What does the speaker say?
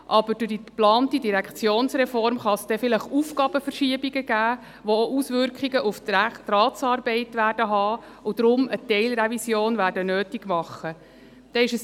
Aber durch die geplante Direktionsreform kann es vielleicht Aufgabenverschiebungen geben, die auch Auswirkungen auf die Ratsarbeit haben und daher eine Teilrevision nötig machen werden.